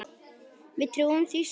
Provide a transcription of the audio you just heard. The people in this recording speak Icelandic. Við trúðum því sjálf.